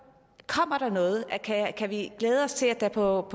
noget kan vi glæde os til at der på